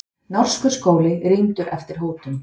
Norskur skóli rýmdur eftir hótun